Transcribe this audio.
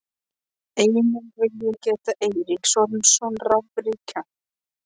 Einnig vil ég geta Eiríks Ormssonar rafvirkja.